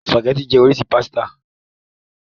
Spàgẹ́ti jẹ́ oríṣi pásítà.